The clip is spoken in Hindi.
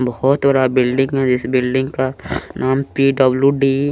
बहोत बड़ा बिल्डिंग है जिस बिल्डिंग का नाम पि डब्लू डी --